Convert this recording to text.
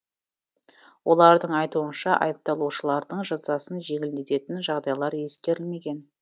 олардың айтуынша айыпталушылардың жазасын жеңілдететін жағдайлар ескерілмеген